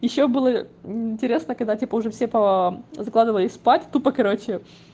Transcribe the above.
ещё было мм интересно когда типа уже все по закладывались спать тупо покороче